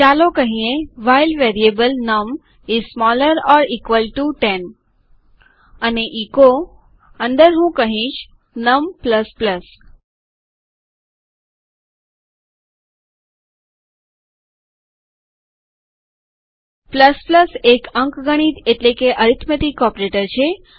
ચાલો કહીએ while variable num is smaller or equal to 10 num 10 કરતા નાનું અથવા સમાન હોય અને એચો અંદર હું કહીશ num એક અંકગણિત એટલે કે અરીથમેટીક ઓપરેટર છે